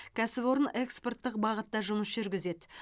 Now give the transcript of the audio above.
кәсіпорын экспорттық бағытта жұмыс жүргізеді